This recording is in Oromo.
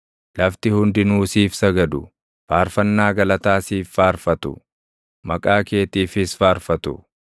Lafti hundinuu siif sagadu; faarfannaa galataa siif faarfatu; maqaa keetiifis faarfatu.”